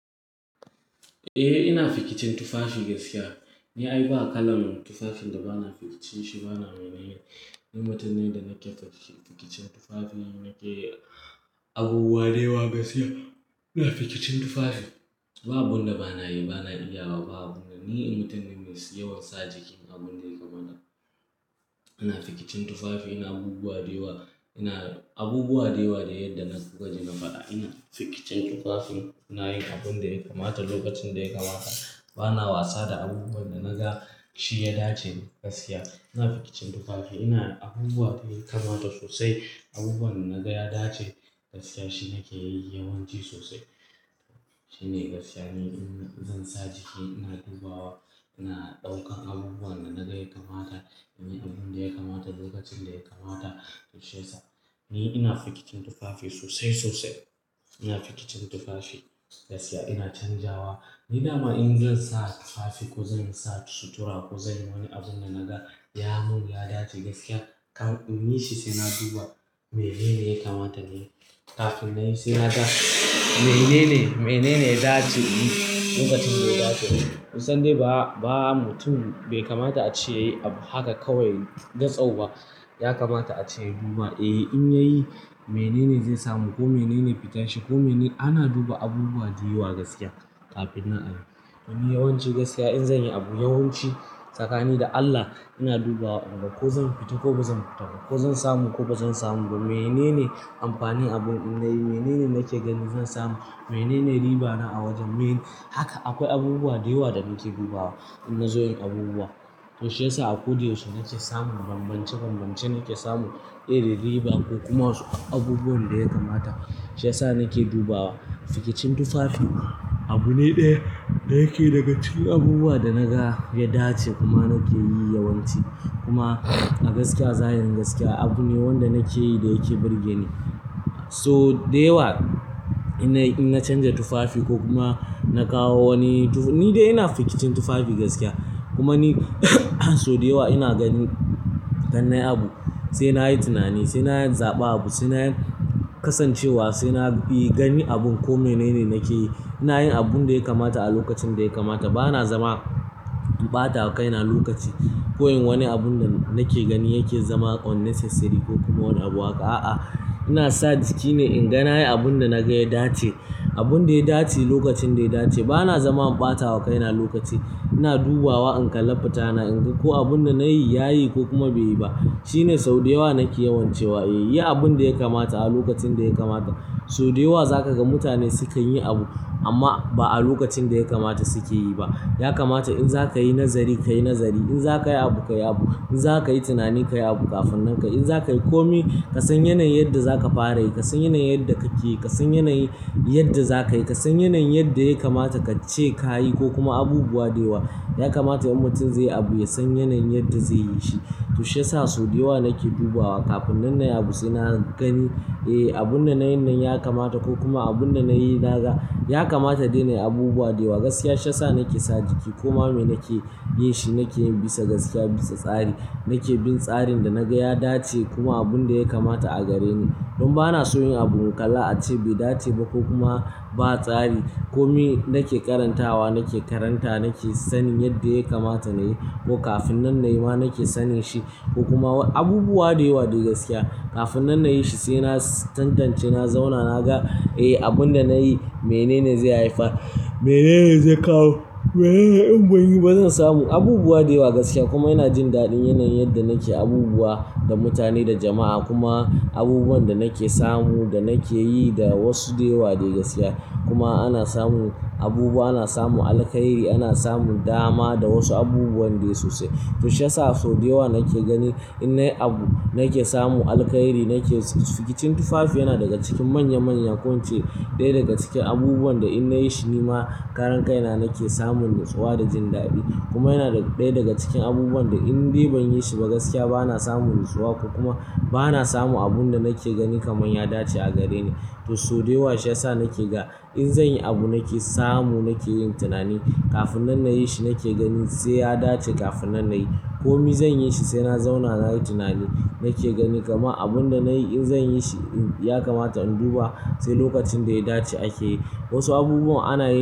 Eh ina fikicin tufafi gaskiya. Ni ai ba kalan tufafin da bana fikice shi bana raina yi. In mutum ne da na kyan fakice fikicin tufafi, nake abubuwa da yawa gaskiya. Ina fikicin tufafi. Ba abun da bana yi bana iyawa ba, abun da ni in mutum ne mai yawan sa jiki abun da ya kamata. Ina fikicin tufafi, ina abubuwa da yawa. Ina abubuwa da yawa da yadda na gwaje na faɗa. Ina fikicin tufafin. Na yi abun da ya kamata lokacin da ya kamata. Bana wasa da abubuwan da naga shi ya dace gaskiya. Ina fikicin tufafi. Ina abubuwa da ya kamata sosai. Abubuwan da naga ya dace gaskiya shi nake yi yawanci sosai. Shine gaskiya ni in zan sa jiki ina dubawa ina ɗaukan abubuwan da naga ya kamata, ina yin abun da ya kamata lokacin da ya kamata. Toh shiyasa ni ina fikicin tufafi sosai, sosai. Ina fikicin tufafi gaskiya ina canjawa. Ni dama in zan sa tufafi ko zan sa sutura ko zan yi wani abun da naga ya mun ya dace gaskiya, kam inyi shi sai na duba menene ya kamata nayi. Kafin na yi sai na ga menene, menene ya dace in yi lokacin da ya dace. Kuson dai ba, ba mutum bai kamata a ce ya yi abu haka kawai gatsau ba. Ya kamata a ce ya duba, eh in ya yi menene zai samu ko menene fitan shi ko menene-- ana duba abubuwa da yawa gaskiya kafin na ayi. Ni yawanci gaskiya in zan yi abu yawanci tsakani da Allah ina dubawa a gaba. Ko zan fita ko ba zan fita ba, ko zan samu ko ba zan samu ba, menene amfanin abun in na yi, menene nake gani zan samu, menene riba na a wajen, mene. Haka akwai abubuwa da yawa da nake dubawa inna zo yin abubuwa. Toshe sa a ko dai yaushe nake samu banbance banbance nake samu, irin riba ko kuma abubuwan da ya kamata. Shi yasa nake dubawa. Fikicin tufafi abu ne ɗaya da yake daga cikin abubuwa da naga ya dace kuma nake yi yawanci. Kuma a gaskiya zahirin gaskiya abu ne wanda nake yi da yake birge ni. So da yawa ina in na canja tufafi ko kuma na kawo wani tuf-- ni dai ina fikicin tufafi gaskiya. Kuma ni so da yawa ina gani-- ganin abu sai na yi tunani, sai na yi zaɓa abu, sai na kasancewa, sai na yi gani abun ko menene nake yi. Ina yin abun da ya kamata a lokacin da ya kamata. Bana zama in ɓata wa kaina lokaci. Ko in wani abun da nake gani yake zama unnecessary ko kuma wani abu haka. A'a, ina sa jikine in ga na yi abun da naga ya dace. Abun da ya dace lokacin da ya dace. Bana zama in ɓata wa kaina lokaci. Ina dubawa in kalla fitana, in ga ko abun da na yi yayi ko kuma bai yi ba. Shine sau da yawa nake yawancewa. Eh yi abun da ya kamata a lokacin da ya kamata. So da yawa za ka ga mutane sukan yi abu amma ba a lokacin da ya kamata suke yi ba. Ya kamata in za ka yi nazari ka yi nazari. In za ka yi abu ka yi abu. In za ka yi tunani ka yi abu kafin nan ka. In za ka yi komi ka san yanayin yadda za ka fara yi, ka san yanayin yadda kake yi, ka san yanayin yadda za ka yi, ka san yanayin yadda ya kamata ka ce ka yi ko kuma abubuwa da yawa. Ya kamata in mutum zai yi abu ya san yanayin yadda zai yi shi. Toshe sa so da yawa nake dubawa kafinnan na yi abu sai na gani, eh abun da na yin nan ya kamata ko kuma abun da na yi naga ya kamata dai na yi abubuwa da yawa gaskiya. Toshe sa nake sa jiki kuma me nake yin shi nake yin bisa gaskiya, bisa tsari. Nake bin tsarin da naga ya dace kuma abun da ya kamata a gare ni. Don ba na son yin abun kala ace bai dace ba ko kuma ba tsari. Komi nake karantawa nake karanta nake sanin yadda ya kamata na yi ko kafin nan na yi ma nake sanin shi ko kuma abubuwa da yawa dai gaskiya. Kafinnan na yi shi sai na tantance na zauna na ga, eh abun da na yi menene zai haifar, menene zai kawo, menene in ban yi ba zan samu. Abubuwa da yawa gaskiya kuma ina jin daɗin yanayin yadda nake abubuwa da mutane, da jama'a kuma abubuwan da nake samu da nake yi da wasu da yawa dai gaskiya. Kuma ana samu abubuwa, ana samun alkhairi, ana samun dama da wasu abubuwan dai sosai. Toshi sa so da yawa nake gani innai abu nake samu alkhairi nake fikicin tufafi yana daga cikin manya manya ko ince. Ɗaya daga cikin abubuwan da in na yi shi ni ma karan kaina nake samun natsuwa da jin daɗi. Kuma yana ɗaya daga cikin abubuwan da in dai ban yi shi ba gaskiya bana samun natsuwa ko kuma bana samun abun da nake gani kaman ya dace a gare ni. Toh so da yawa shine sa nake ga in zan yi abu nake samu nake yin tunani. Kafinnan na yi shi nake ganin sai ya dace kafin na yi. Komi zan yi shi sai na zauna na yi tunani nake ganin kama abun da na yi in zan yi shi ya kamata in duba sai lokacin da ya dace ake yi. Wasu abubuwan ana.